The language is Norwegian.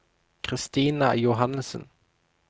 Christina Johannesen